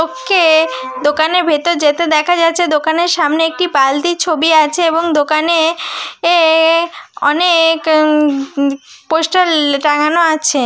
ওকে দোকানের ভেতর যেতে দেখা যাচ্ছে দোকানের সামনে একটি বালতি ছবি আছে এবং দোকানে অ অনেক পোস্টার টাঙানো আছে।